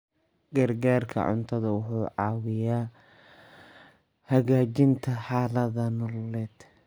Gargaarka cuntadu wuxuu caawiyaa hagaajinta xaaladaha nololeed.